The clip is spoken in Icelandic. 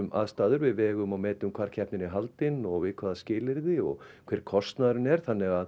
aðstæður við vegum og metum hvar keppnin er haldin og við hvaða skilyrði og hver kostnaðurinn er þannig að